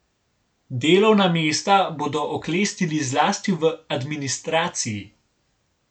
Delovna mesta bodo oklestili zlasti v administraciji.